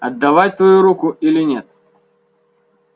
отдавать твою руку или нет